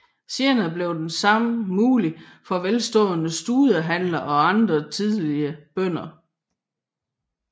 Senere blev det samme muligt for velstående studehandlere og andre tidligere bønder